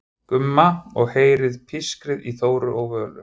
Gumma og heyrir pískrið í Þóru og Völu.